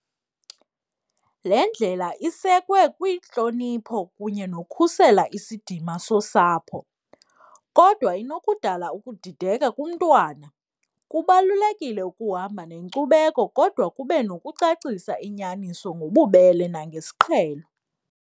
Le ndlela isekwe kwintlonipho kunye nokhusela isidima sosapho kodwa inokudala ukudideka kumntwana, kubalulekile ukuhamba nenkcubeko kodwa kube nokucacisa inyaniso ngobubele nangesiqhelo.